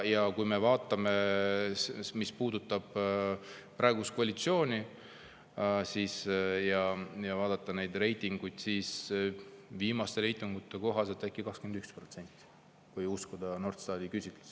Ja mis puudutab praegust koalitsiooni, kui vaadata neid reitinguid, siis viimaste reitingute kohaselt ei usalda 21%, kui uskuda Norstati küsitlusi.